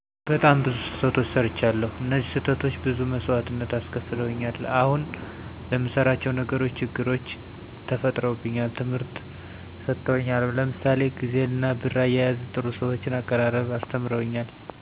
በጣም ብዙ ስተቶች ሰርቻለዉ እነዚህ ስህተቶች ብዙ መሰዋእትነት አስከፍለውኛል አሁን ለምንሰራቸው ነገሮች ችግሮች ተፈጥሮብኛል ትምህርት ሰጠውኛልም ለምሳሌ ግዜንና ብር አያያዝና ጥሩ ሰዎችን አቀራረብ አስተምረውኛል